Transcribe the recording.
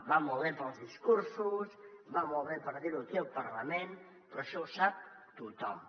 va molt bé per als discursos va molt bé per dir ho aquí al parlament però això ho sap tothom